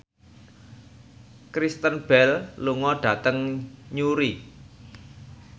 Kristen Bell lunga dhateng Newry